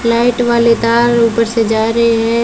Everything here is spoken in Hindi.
लाइट वाले तार ऊपर से जा रहे हैं।